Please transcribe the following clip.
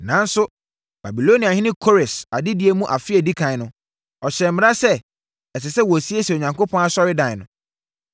“Nanso, Babiloniahene Kores adedie mu afe a ɛdi ɛkan no, ɔhyɛɛ mmara sɛ, ɛsɛ sɛ wɔsiesie Onyankopɔn asɔredan no.